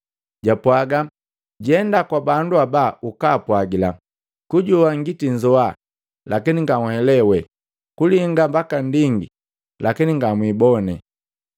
Jaapwaga, ‘Jenda kwa bandu haba ukaapwagila, kujoa ngitinzoa, lakini nganhelewe, kulinga ndinga, lakini ngamwiibone.